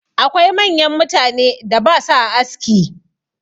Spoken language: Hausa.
Akwai manyan mutanen da ba sua aski.